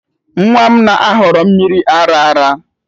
Nwa m na-ahọrọ mmiri ara ara